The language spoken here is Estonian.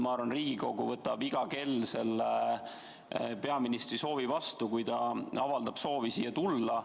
Ja ma arvan, et Riigikogu võtab iga kell peaministri soovi vastu, kui ta avaldab soovi siia tulla.